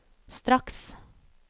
straks